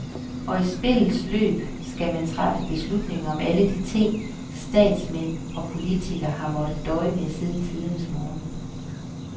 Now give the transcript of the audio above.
Og i spillets løb skal man træffe beslutninger om alle de ting, statsmænd og politikere har måttet døje med siden tidernes morgen.